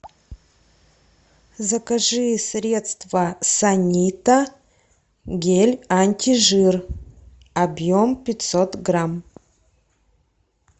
закажи средство санита гель антижир объем пятьсот грамм